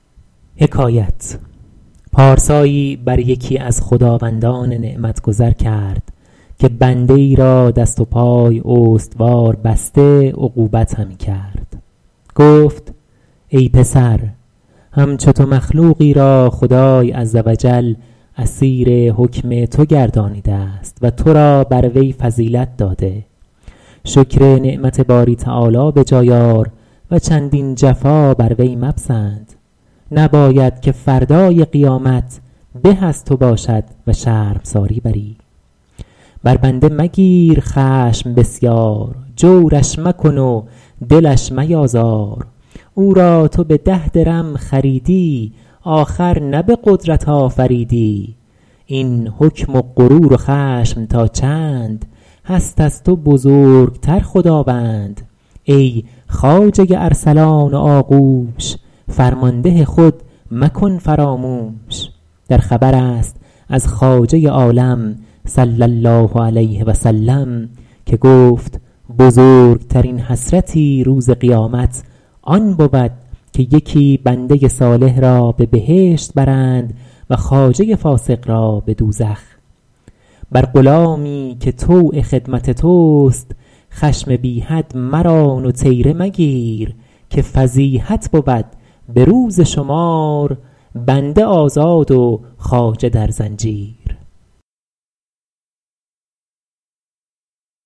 پارسایی بر یکی از خداوندان نعمت گذر کرد که بنده ای را دست و پای استوار بسته عقوبت همی کرد گفت ای پسر همچو تو مخلوقی را خدای عز و جل اسیر حکم تو گردانیده است و تو را بر وی فضیلت داده شکر نعمت باری تعالی به جای آر و چندین جفا بر وی مپسند نباید که فردای قیامت به از تو باشد و شرمساری بری بر بنده مگیر خشم بسیار جورش مکن و دلش میازار او را تو به ده درم خریدی آخر نه به قدرت آفریدی این حکم و غرور و خشم تا چند هست از تو بزرگتر خداوند ای خواجه ارسلان و آغوش فرمانده خود مکن فراموش در خبر است از خواجه عالم صلی الله علیه و سلم که گفت بزرگترین حسرتی روز قیامت آن بود که یکی بنده صالح را به بهشت برند و خواجه فاسق را به دوزخ بر غلامی که طوع خدمت توست خشم بی حد مران و طیره مگیر که فضیحت بود به روز شمار بنده آزاد و خواجه در زنجیر